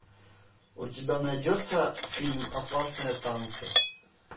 у тебя найдется фильм опасные танцы